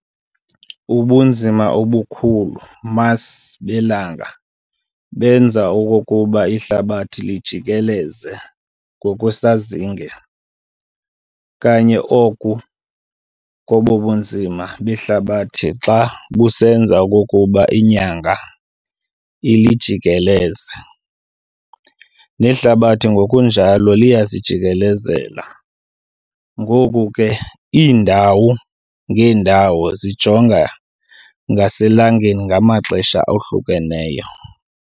Ubunzima obukhulu mass belanga benza okokuba ihlabathi lilijikeleze ngokwesazinge, kanye oku kobunzima behlabathi xa busenza okokuba inyanga ilijikeleze . Nehlabathi ngokunjalo liyazijikikelezela, ngoko ke iindawo ngeendawo zijonge ngaselangeni ngamaxesha ahlukeneyo.